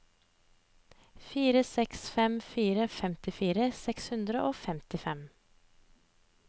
fire seks fem fire femtifire seks hundre og femtifem